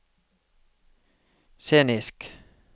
scenisk